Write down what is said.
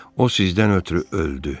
O sizdən ötrü öldü.